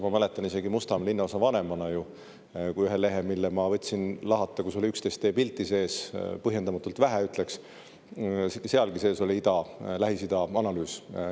Ma mäletan, teist kui Mustamäe linnaosa vanemast oli ühes lehes, mille ma võtsin lahata, 11 pilti sees – põhjendamatult vähe, ütleksin – ja sealgi oli analüüs Lähis-Ida kohta.